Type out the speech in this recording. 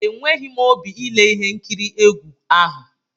Enweghi m óbị ile ihe nkiri egwu ahụ!